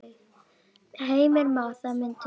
Heimir Már: Það myndi duga?